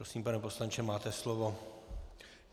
Prosím, pane poslanče, máte slovo.